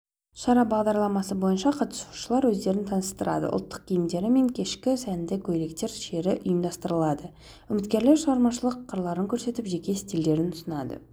шара бағдарламасы бойынша қатысушылар өздерін таныстырады ұлттық киімдер мен кешкі сәнді көйлектер шеруі ұйымдастырылады үміткерлер шығармашылық қырларын көрсетіп жеке стильдерін ұсынады